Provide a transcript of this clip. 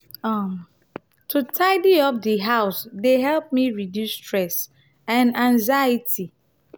um to dey tidy up di house dey help me reduce stress and anxiety.